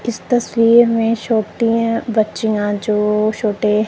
इस तस्वीर में छोटिया बच्चियां जो छोटे --